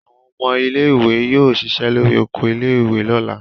Àwọn ọmọ ilé-ìwé yóò ṣiṣẹ́ lórí oko ilé-ìwé lọ́la.